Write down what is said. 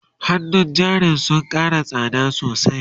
hannun jarin sun Kara tsakmda sosai